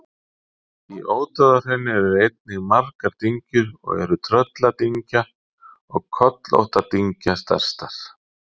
Í Ódáðahrauni eru einnig margar dyngjur og eru Trölladyngja og Kollóttadyngja stærstar.